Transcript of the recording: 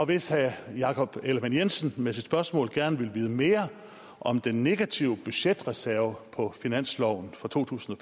hvis herre jakob ellemann jensen med sit spørgsmål gerne vil vide mere om den negative budgetreserve på finansloven for to tusind og